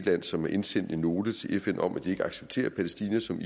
land som har indsendt en note til fn om at de ikke accepterer palæstina som